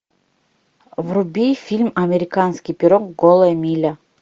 вруби фильм американский пирог голая миля